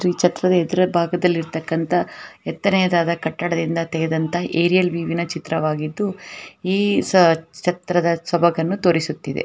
ಈ ಚಿತ್ರದಲ್ಲಿ ಎದುರುಗಡೆ ಭಾಗದಲ್ಲಿ ಇರತಕ್ಕಂತಹ ಹೆತ್ತರೆಯಾದ ಕಟ್ಟಡದಿಂದ ತೆಗೆದಂತ ಚಿತ್ರ ಈ ಚಿತ್ರದ ಸೋಭಗವನ್ನು ತೋರಿಸುತ್ತಿದೆ.